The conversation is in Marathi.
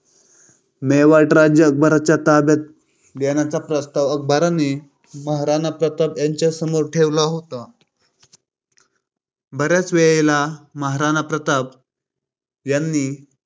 मेवाड राज्य अकबराच्या ताब्यात देण्याचा प्रस्ताव अकबराने महाराणा प्रताप यांच्या समोर ठेवला होता. बऱ्याच वेळेला महाराणा प्रताप यांनी ह्या